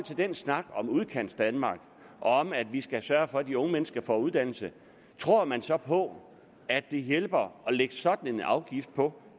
den snak om udkantsdanmark og om at vi skal sørge for at de unge mennesker får uddannelse tror man så på at det hjælper at lægge sådan en afgift på